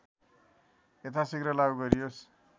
यथासिघ्र लागु गरियोस्